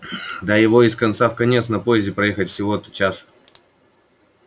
да его из конца в конец на поезде проехать всего-то час